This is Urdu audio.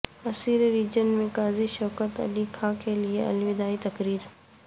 عسیر ریجن میں قاضی شوکت علی خاں کیلئے الوداعی تقریب